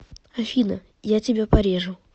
афина я тебя порежу